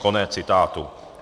Konec citátu.